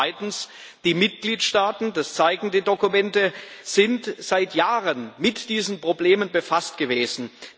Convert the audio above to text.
Und zweitens Die Mitgliedstaaten das zeigen die Dokumente sind seit Jahren mit diesen Problemen befasst gewesen.